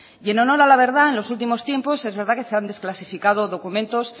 y en honor a la verdad en los últimos tiempos es verdad que se han desclasificado documentos